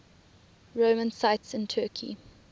roman sites in turkey